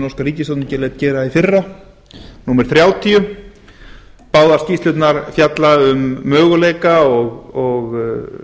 norska ríkisstjórnin lét gera í fyrra númer þrjátíu báðar skýrslurnar fjalla um möguleika og